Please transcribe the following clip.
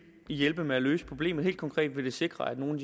hjælpe med at løse problemet helt konkret vil det sikre at nogle